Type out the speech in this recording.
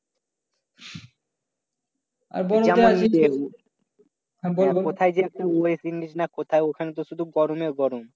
আহ কোথায় যেহেতু